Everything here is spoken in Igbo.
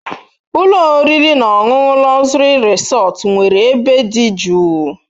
Ụlọ oriri na ọṅụṅụ Luxury Resort nwere ebe dị jụụ.